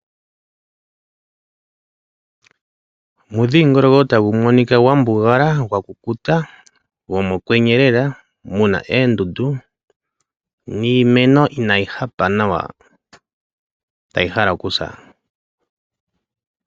Omudhingoloko tagu monika gwa mbugala, gwa kukuta gomokwenye lela, mu na oondundu niimeno inayi hapa nawa tayi hala okusa.